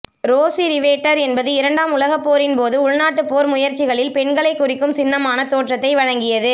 Rosie Riveter என்பது இரண்டாம் உலகப் போரின்போது உள்நாட்டுப் போர் முயற்சிகளில் பெண்களை குறிக்கும் சின்னமான தோற்றத்தை வழங்கியது